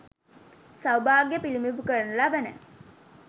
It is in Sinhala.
සෞභාග්‍යය පිළිබිඹු කරනු ලබන